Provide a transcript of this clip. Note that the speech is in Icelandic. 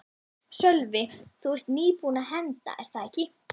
Sölvi: Þú ert nýbúin að henda er það ekki?